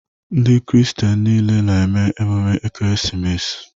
Ndị kristian nile na-eme emume ekeresimesi